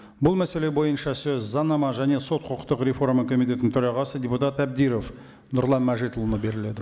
бұл мәселе бойынша сөз заңнама және сот құқықтық реформа комитетінің төрағасы депутат әбдіров нұрлан мәжитұлына беріледі